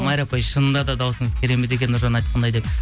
майра апай шынында да дауысыңыз керемет екен нұржан айтқандай деп